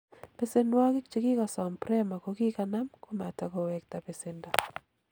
Besenwokik chekikosom Prema kokinam komatakowekta besendo.